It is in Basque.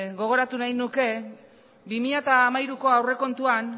gogoratu nahi nuke bi mila hamairuko aurrekontuan